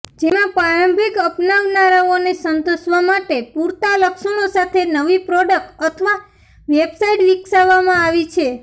જેમાં પ્રારંભિક અપનાવનારાઓને સંતોષવા માટે પૂરતા લક્ષણો સાથે નવી પ્રોડક્ટ અથવા વેબસાઇટ વિકસાવવામાં આવી છે